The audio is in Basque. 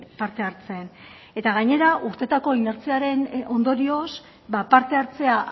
parte hartzen eta gainera urteetako inertziaren ondorioz ba parte hartzea